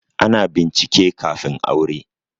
Ana bincike kafin aure